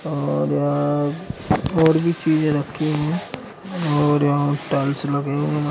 और भी चीजे रखी हैंऔर यहाँ टाइल्स लगे हुए हैं।